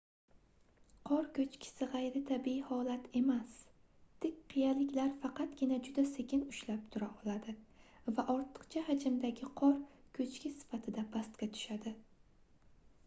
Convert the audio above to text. qor koʻchkisi gʻayritabiiy holat emas tik qiyaliklar faqatgina juda sekin ushlab tura oladi va ortiqcha hajmdagi qor koʻchki sifatida pastga tushadi